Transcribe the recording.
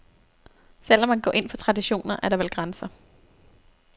Selv om man går ind for traditioner, er der vel grænser.